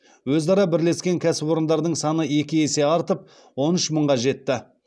өзара бірлескен кәсіпорындардың саны екі есе артып он үш мыңға жетті